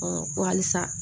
ko halisa